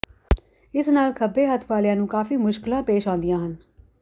ਇਸ ਨਾਲ ਖੱਬੇ ਹੱਥ ਵਾਲਿਆਂ ਨੂੰ ਕਾਫੀ ਮੁਕਸ਼ਲਾਂ ਪੇਸ਼ ਆਉਂਦੀਆਂ ਹਨ